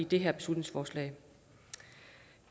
det her beslutningsforslag